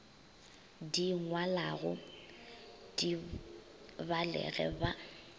di ngwalago di balege ba